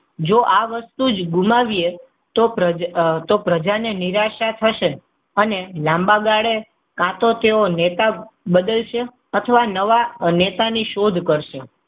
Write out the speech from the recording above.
જો આ વસ્તુ જ ભૂલાવીએ તો પ્રજાને નિરાશા થશે. અને લાંબા ગાળે કાં તો તેઓ નેતા બદલશે, અથવા નવા નેતા ની શોધ કરશે.